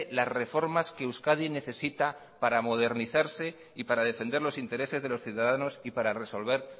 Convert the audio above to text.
las reformas que euskadi necesita para modernizarse y para defender los intereses de los ciudadanos y para resolver